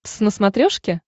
твз на смотрешке